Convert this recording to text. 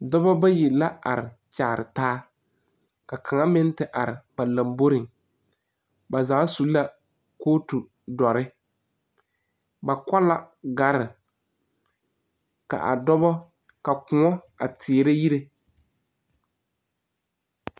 Doɔbo bayi la are kyaare taa. Ka kang meŋ te are ba lamboreŋ. Ba zaa su la kootu duore. Ba ko la gare ka a doɔbo, ka koɔ a teɛrɛ yireɛ